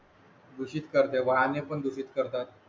दूषित करते वाहने पण दूषित करतात